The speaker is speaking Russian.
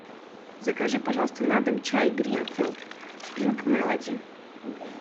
закажи пожалуйста на дом чай гринфилд спринк мелоди